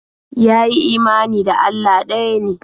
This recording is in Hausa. Ya yi imani Allah ɗaya ne.